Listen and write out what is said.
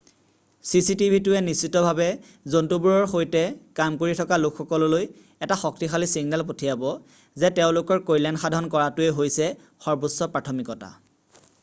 """চিচিটিভিটোৱে নিশ্চিতভাৱে জন্তুবোৰৰ সৈতে কাম কৰি থকা লোকসকললৈ এটা শক্তিশালী ছিগনেল পঠিয়াব যে তেওঁলোকৰ কল্যাণ সাধন কৰাটোৱে হৈছে সৰ্বোচ্চ প্ৰাথমিকতা।""